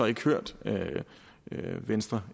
ikke hørt venstre